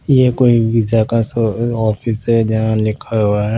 यह कोई वीज़ा का शो ऑफिस है जहाँ लिखा हुआ है--